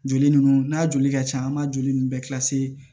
Joli ninnu n'a joli ka can an b'a joli ninnu bɛɛ